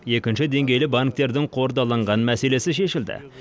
екінші деңгейлі банктердің қордаланған мәселесі шешілді